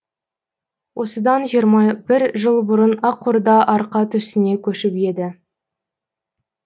осыдан жиырма бір жыл бұрын ақорда арқа төсіне көшіп еді